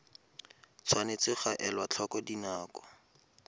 tshwanetse ga elwa tlhoko dinako